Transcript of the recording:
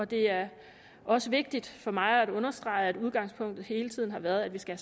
det er også vigtigt for mig at understrege at udgangspunktet hele tiden har været at vi skal